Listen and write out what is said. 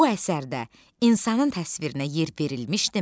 Bu əsərdə insanın təsvirinə yer verilmişdimi?